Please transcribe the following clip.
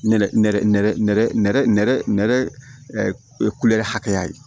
Nɛrɛ hakɛya ye